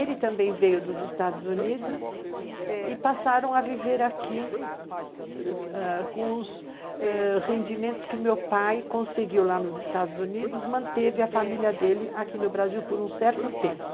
Ele também veio dos Estados Unidos e passaram a viver aqui com os rendimentos que meu pai conseguiu lá nos Estados Unidos, manteve a família dele aqui no Brasil por um certo tempo.